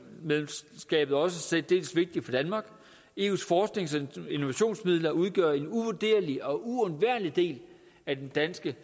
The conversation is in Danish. medlemskabet også særdeles vigtigt for danmark eus forsknings og innovationsmidler udgør en uvurderlig og uundværlig del af det danske